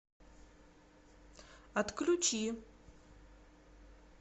отключи